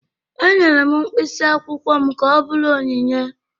Enyere m mkpịsị akwụkwọ m ka ọ bụrụ onyinye